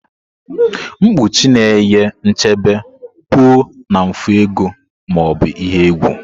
mkpuchi na-enye nchebe pụọ na mfu ego ma ọ bụ ihe egwu.